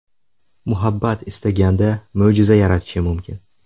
Muhabbat istaganda mo‘jiza yaratishi mumkin.